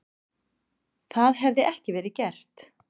Það hefði ekki verið gert